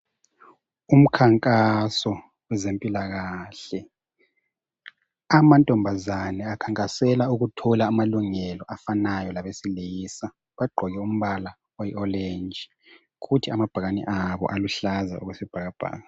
Ukhankaso wezempilakahle amantombazana akhankasela ukuthola amalungelo afanayo labesilisa bagqoke umbala oyi oreji ukuthi amabhakani wabo aluhlaza okwesibhakabhaka..